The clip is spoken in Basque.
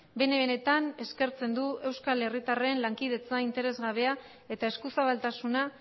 bene benetan eskertzen du euskal herritarren lankidetza interes gabea eta eskuzabaltasuna